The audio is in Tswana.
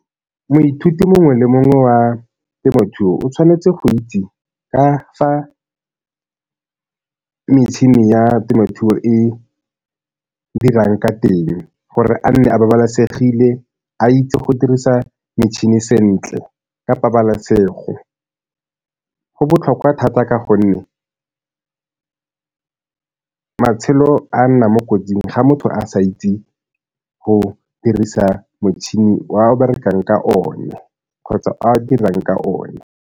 Moithuti mongwe le mongwe wa temothuo o tshwanetse go itse ka fa metšhini ya temothuo e dirang ka teng gore a nne a babalesegile a itse go dirisa metšhini sentle ka pabalesego. Go botlhokwa thata ka gonne matshelo a nna mo kotsing ga motho a sa itse go dirisa motšhini o a berekang ka one kgotsa a dirang ka one.